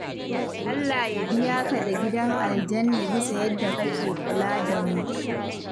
Allah ya biya ka da gidan aljanna bisa yadda kake kula da mu.